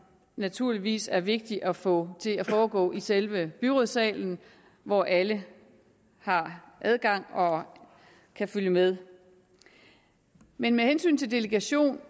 naturligvis er vigtigt at få til at foregå i selve byrådssalen hvor alle har adgang og kan følge med men med hensyn til delegation